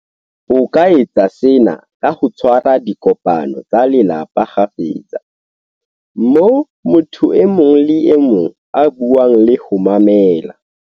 O ka etsa sena ka ho tshwa ra dikopano tsa lelapa kgafetsa, moo motho e mong le e mong a buang le ho mamela.